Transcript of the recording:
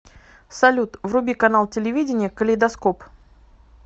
салют вруби канал телевидения калейдоскоп